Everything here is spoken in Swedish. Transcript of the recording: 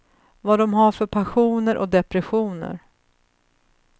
Vad de har för passioner och depressioner.